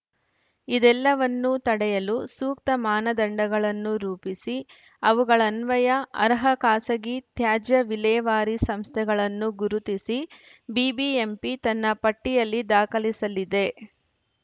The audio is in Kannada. ಇದೆಲ್ಲವನ್ನೂ ತಡೆಯಲು ಸೂಕ್ತ ಮಾನದಂಡಗಳನ್ನು ರೂಪಿಸಿ ಅವುಗಳನ್ವಯ ಅರ್ಹ ಖಾಸಗಿ ತ್ಯಾಜ್ಯ ವಿಲೇವಾರಿ ಸಂಸ್ಥೆಗಳನ್ನು ಗುರುತಿಸಿ ಬಿಬಿಎಂಪಿ ತನ್ನ ಪಟ್ಟಿಯಲ್ಲಿ ದಾಖಲಿಸಲಿದೆ